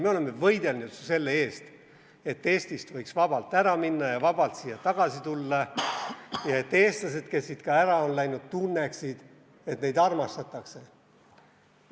Me oleme võidelnud ju selle eest, et Eestist võiks vabalt ära minna ja vabalt siia tagasi tulla ja et eestlased, kes siit ka ära on läinud, tunneksid, et neid armastatakse.